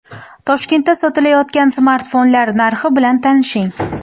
Toshkentda sotilayotgan smartfonlar narxi bilan tanishing.